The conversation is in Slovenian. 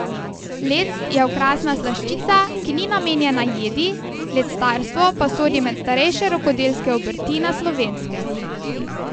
Lect je okrasna slaščica, ki ni namenjena jedi, lectarstvo pa sodi med starejše rokodelske obrti na Slovenskem.